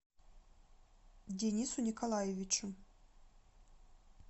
денису николаевичу